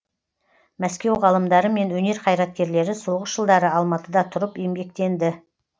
мәскеу ғалымдары мен өнер қайраткерлері соғыс жылдары алматыда тұрып еңбектенді